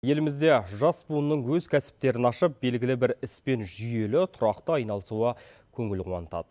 елімізде жас буынның өз кәсіптерін ашып белгілі бір іспен жүйелі тұрақты айналысуы көңіл қуантады